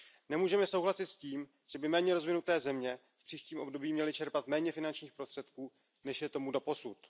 Nemůžeme souhlasit s tím, že by méně rozvinuté země v příštím období měly čerpat méně finančních prostředků, než je tomu doposud.